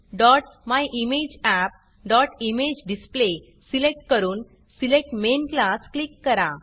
orgmemyimageappइमेजेडिस्प्ले select करून select main Classसेलेक्ट main class click करा